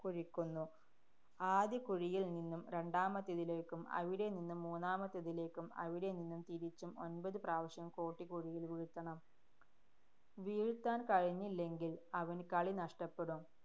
കുഴിക്കുന്നു. ആദ്യ കുഴിയില്‍ നിന്നും രണ്ടാമത്തേതിലേക്കും, അവിടെനിന്ന് മൂന്നാമത്തേതിലേക്കും, അവിടെ നിന്നും തിരിച്ചും ഒന്‍പത് പ്രാവശ്യം കോട്ടി കുഴിയില്‍ വീഴ്ത്തണം. വീഴ്ത്താന്‍ കഴിഞ്ഞില്ലെങ്കില്‍ അവന് കളി നഷ്ടപ്പെടും.